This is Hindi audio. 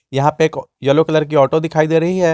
यह पर एक येलो कलर की ऑटो दिखाई दे रही है।